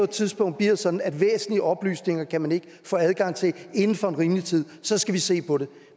tidspunkt bliver sådan at væsentlige oplysninger kan man ikke få adgang til inden for en rimelig tid så skal vi se på det